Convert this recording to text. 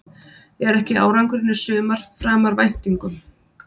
Er ekki árangurinn í sumar framar væntingum?